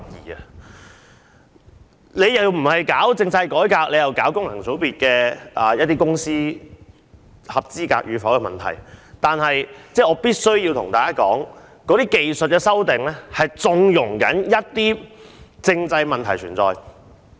如果政府不進行政制改革，只是提出某些組織是否符合功能界別的選民資格，那便是縱容一些政制問題存在。